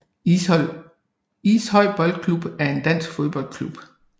Ishøj Boldklub er en dansk fodboldklub